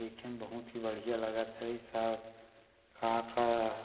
देखे म बहुत ही बढ़िया लगत हे साफ हा का का --